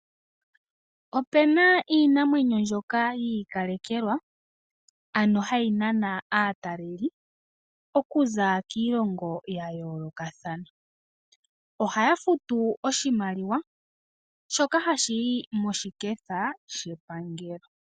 Ope na iinamwenyo mbyoka yi ikalekelwa, ano hayi nana aataleli, okuza kiilongo ya yoolokathana. Ohaya futu oshimaliwa shoka hashi yi moshiketha shepangelo.